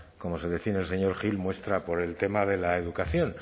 como se define el señor gil muestra por el tema de la educación